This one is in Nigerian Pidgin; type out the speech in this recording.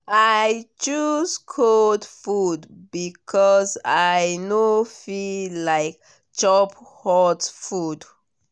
i choose cold food because i no feel like chop hot food.